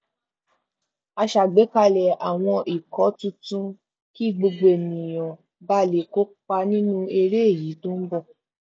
a ṣàgbékalẹ àwọn ikọ tuntun kí gbogbo ènìyàn ba lè kópa nínú eré èyí tó n bọ